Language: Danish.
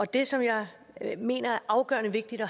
det som jeg mener er afgørende vigtigt at